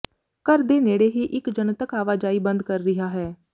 ਘਰ ਦੇ ਨੇੜੇ ਹੀ ਇੱਕ ਜਨਤਕ ਆਵਾਜਾਈ ਬੰਦ ਕਰ ਰਿਹਾ ਹੈ